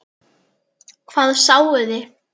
Hvað sáuði?